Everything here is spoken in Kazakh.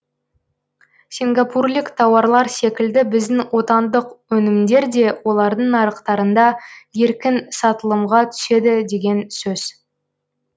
сингапурлік тауарлар секілді біздің отандық өнімдер де олардың нарықтарында еркін сатылымға түседі деген сөз